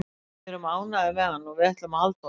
Við erum ánægðir með hann og við ætlum að halda honum.